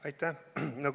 Aitäh!